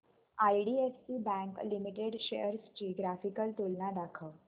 IDFC bank limited shares ची graphical तुलना दाखव